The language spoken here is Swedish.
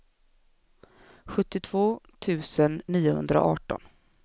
sjuttiotvå tusen niohundraarton